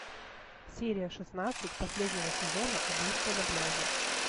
серия шестнадцать последнего сезона убийство на пляже